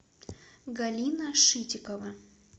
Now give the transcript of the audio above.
галина шитикова